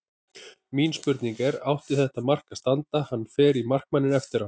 Mín spurning er: Átti þetta mark að standa, hann fer í markmanninn eftir á?